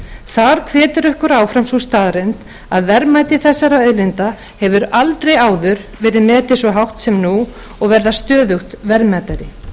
þar hvetur okkur áfram sú staðreynd að verðmæti þessara auðlinda hefur aldrei áður verið metið svo hátt sem nú og verið stöðugt verðmætari